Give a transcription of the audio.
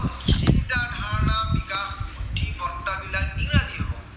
চিন্তা, ধাৰনা, বিকাশ, বুদ্ধিমত্তা বিলাক ইংৰাজী হব।